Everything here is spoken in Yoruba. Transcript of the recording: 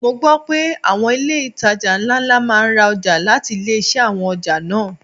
Mo gbo pé àwọn ilé itàjà ńlá máa ń ra ọjà láti ilé-iṣẹ́ àwọn ọjà náà.